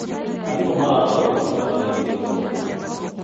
Arimũ maraka ũrori mwega wĩgiĩ gĩthomo.